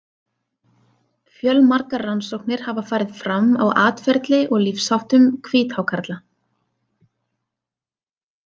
Fjölmargar rannsóknir hafa farið fram á atferli og lífsháttum hvíthákarla.